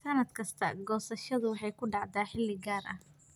Sannad kasta, goosashadu waxay ku dhacdaa xilli gaar ah.